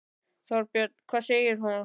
Þorbjörn: Hvað segir þú?